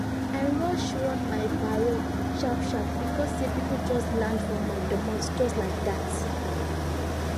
i rush run my parole sharp sharp becos say people just land for my domot just like dat